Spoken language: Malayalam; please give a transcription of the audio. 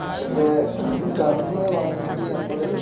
അതിൻ്റെ കന്ന് വാങ്ങീട്ട് നമ്മള്